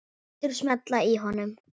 Lætur smella í honum.